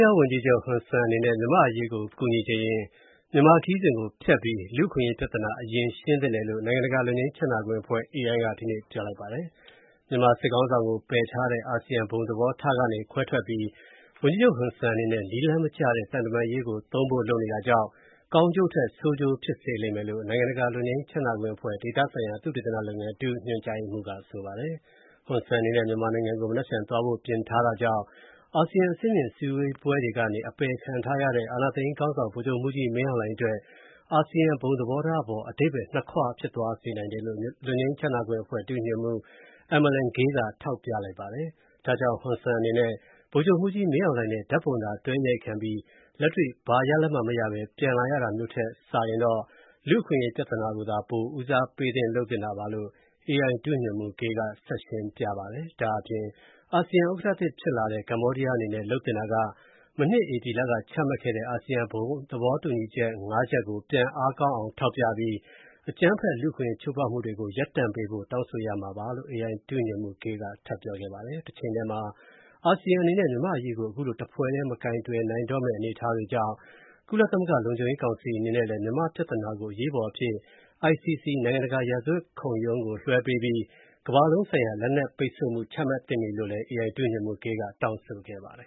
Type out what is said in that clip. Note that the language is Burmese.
ယားဝန်ကြီးချုပ် ဟွန်ဆန်အနေနဲ့ မြန်မာ့အရေးကူညီချင်ရင် မြန်မာခရီးစဉ်ဖျက်ပြီး လူ့အခွင့်အရေး ပြဿနာ အရင်ရှင်းသင့်တယ်လို့ နိုင်ငံတကာလွတ်ငြိမ်းချမ်းသာခွင့်အဖွဲ့ (AI) က ဒီနေ့ပြောလိုက်ပါတယ်။ မြန်မာစစ်ခေါင်းဆောင်ကို ပယ်ထားတဲ့ အာဆီယံ ဘုံသဘောထားကနေ ခွဲထွက်ပြီး ဟွန်ဆန်အနေနဲ့ နည်းလမ်းမကျတဲ့ သံတမန်ရေးကို သုံးဖို့လုပ်နေတာကြောင့် ကောင်းကျိုးထက် ဆိုးကျိုးဖြစ်စေလိမ့်မယ်လို့ နိုင်ငံတကာလွတ်ငြိမ်းချမ်းသာခွင့်အဖွဲ့ ဒေသဆိုင်ရာ သုတေသနလုပ်ငန်း ဒုညွှန်ကြားရေးမှူးက ဆိုပါတယ်။ ဟွန်ဆန်အနေနဲ့ မြန်မာနိုင်ငံကို မနက်ဖြန် သွားဖို့ပြင်ထားတာကြောင့် အာဆီယံ အဆင့်မြင့်စည်းဝေးပွဲတွေကနေ အပယ်ခံထားရတဲ့ အာဏာသိမ်းခေါင်းဆောင် ဗိုလ်ချုပ်မှူးကြီးမင်းအောင်လှိုင်အတွက် အာဆီယံ ဘုံသဘောထားအပေါ် အဓိပ္ပါယ် နှစ်ခွ ဖြစ်သွားစေနိုင် တယ်လို့ လွတ်ငြိမ်းချမ်းသာခွင့်အဖွဲ့ ဒုညွန်မှူး Emerlynne Gil က ထောက်ပြပါတယ်။ ဒါကြောင့် ဟွန်ဆန်အနေနဲ့ ဗိုလ်ချုပ်မှူးကြီးမင်းအောင်လှိုင်နဲ့ ဓာတ်ပုံသာတွဲအရိုက်ခံရပြီး လက်တွေ့ ဘာရလဒ်မှမရဘဲ ပြန်လာရတာမျိုး ဖြစ်မှာထက်စာရင်တော့ လူ့အခွင့်အရေးပြဿနာကိုသာ ပို ဦးစားပေး လုပ်သင့်တာပါလို့ AI ဒုညွှန်မှူး Gil က ဆက်ရှင်းပြပါတယ်။ ဒါ့အပြင် အာဆီယံဥက္ကဋ္ဌသစ်ဖြစ်လာတဲ့ ကမ္ဘောဒီးယားအနေနဲ့ လုပ်သင့်တာက မနှစ် ဧပြီလကချမှတ်ခဲ့တဲ့ အာဆီယံ ဘုံသဘောတူညီချက် ၅ ချက်ကို ပြန်အားကောင်းအောင်ထောက်ပြပြီး အကြမ်းဖက် လူ့အခွင့် အရေးချိုးဖောက်မူတွေ ရပ်တန့်ပေးဖို့ တောင်းဆိုရမှာပါလို့ AI ဒုညွှန်မှူး Gil က ထပ်ပြောခဲ့ပါတယ်။ တချိန်တည်းမှာ အာဆီယံအနေနဲ့ မြန်မာ့အရေးကို အခုလို တဖွဲ့တည်း မကိုင်တွယ်နိုင်တော့မယ့် အနေအထားကြောင့် ကုလသမဂ္ဂ လုံခြုံရေးကောင်စီအနေနဲ့လည်း မြန်မာပြဿနာကို အရေးပေါ်အဖြစ် ICC နိုင်ငံတကာ ရာဇဝတ် တရားခုံရုံးကိုလွှဲပေးပြီး ကမ္ဘာလုံးဆိုင် ရာ လက်နက်ပိတ်ဆို့မူ ချမှတ်သင့်ပြီလို့လည်း AI ဒုညွှန်မှူး Gil က တောင်းဆိုခဲ့ပါတယ်